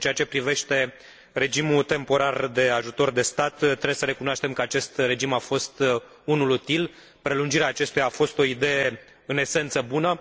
În ceea ce privește regimul temporar de ajutor de stat, trebuie să recunoaștem că acest regim a fost unul util, iar prelungirea acestuia a fost o idee în esență bună.